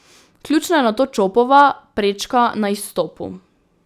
Ključna je nato Čopova prečka na izstopu.